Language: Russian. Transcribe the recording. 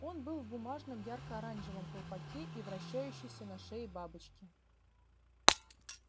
он был в бумажном ярко-оранжевом колпаке и вращающейся на шее бабочке